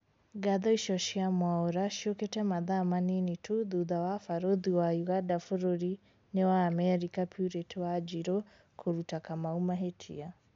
Ngatho icio cia Mwaura ciũkĩte mathaa manini tu thutha wa barũthi wa Uganda bũrũri-inĩ wa Amerika Purity Wanjiru kũruta Kamau mahĩtia